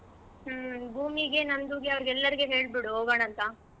ಹ್ಮ್ ಭೂಮಿಗೆ, ನಂದುಗೆ ಅವ್ರಿಗೆಲ್ಲರ್ಗು ಹೇಳ್ ಬಿಡು ಹೋಗೋಣ ಅಂತಾ.